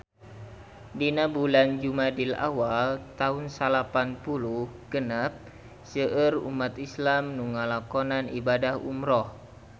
Dina bulan Jumadil awal taun salapan puluh genep seueur umat islam nu ngalakonan ibadah umrah